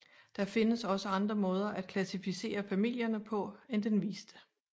Der findes også andre måder at klassificere familierne på end den viste